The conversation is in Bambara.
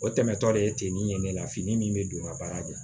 O tɛmɛtɔ de ye ten ni ye ne la fini min bɛ don n ka baara de la